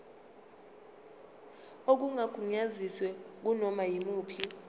okungagunyaziwe kunoma yimuphi